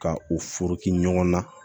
Ka u furu ɲɔgɔn na